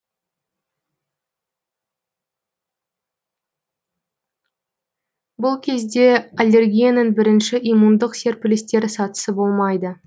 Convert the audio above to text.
бұл кезде аллергияның бірінші иммундық серпілістер сатысы болмайды